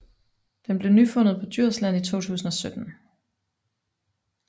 Den blev nyfundet på Djursland i 2017